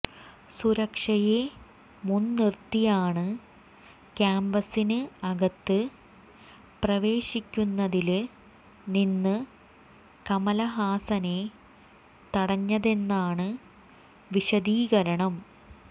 സുരക്ഷയെ മുന്നിര്ത്തിയാണ് കാംപസിന് അകത്ത് പ്രവേശിക്കുന്നതില് നിന്ന് കമലഹാസനെ തടഞ്ഞതെന്നാണ് വിശദീകരണം